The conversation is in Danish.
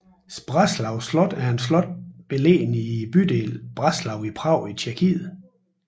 Zbraslav slot er et slot beliggende i bydelen Zbraslav i Prag i Tjekkiet